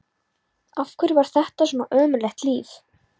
Af hverju var þetta svona ömurlegt líf?